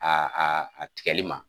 Aa aa a tigɛli ma